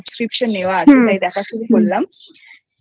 আমার Subscription নেওয়া আছে তাই দেখা শুরু করলাম আচ্ছা আচ্ছা